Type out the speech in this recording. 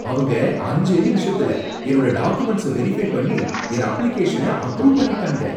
அவங்க அஞ்சே நிமிஷத்துல என்னோட டாகுமெண்ட்ஸ வெரிஃபை பண்ணி என் அப்ளிகேஷன அப்ரூவ் பண்ணிட்டாங்க.